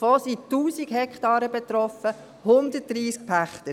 Davon sind 1000 Hektaren betroffen, 130 Pächter.